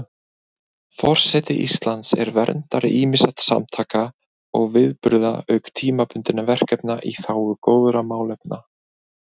Forseti Íslands er verndari ýmissa samtaka og viðburða auk tímabundinna verkefna í þágu góðra málefna.